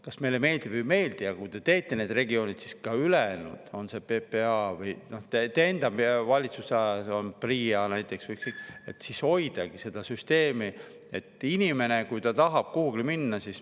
Kas meile meeldib või ei meeldi, aga kui te teete need regioonid, siis ka ülejäänud – on see PPA või te enda valitsusalas olev PRIA –, et inimene, kui ta tahab, siis.